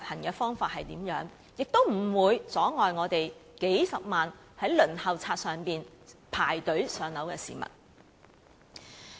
亦應表明不會阻礙數十萬在輪候冊上等候"上樓"的市民。